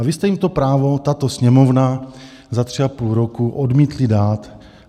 A vy jste jim to právo, tato Sněmovna, za tři a půl roku odmítli dát.